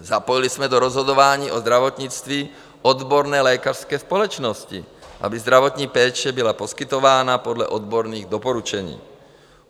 Zapojili jsme do rozhodování o zdravotnictví odborné lékařské společnosti, aby zdravotní péče byla poskytována podle odborných doporučení.